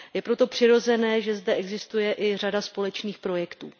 Je proto přirozené, že zde existuje i řada společných projektů.